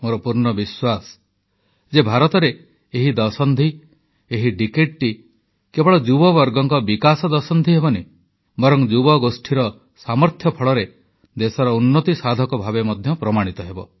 ମୋର ପୂର୍ଣ୍ଣ ବିଶ୍ୱାସ ଯେ ଭାରତରେ ଏହି ଦଶନ୍ଧି ଏହି ଡିକେଡ କେବଳ ଯୁବବର୍ଗଙ୍କ ବିକାଶ ଦଶନ୍ଧି ହେବନି ବରଂ ଯୁବଗୋଷ୍ଠୀର ସାମର୍ଥ୍ୟ ବଳରେ ଦେଶର ଉନ୍ନତି ସାଧକ ଭାବେ ମଧ୍ୟ ପ୍ରମାଣିତ ହେବ